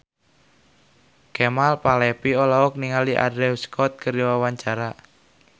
Kemal Palevi olohok ningali Andrew Scott keur diwawancara